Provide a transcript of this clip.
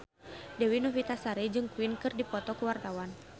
Dewi Novitasari jeung Queen keur dipoto ku wartawan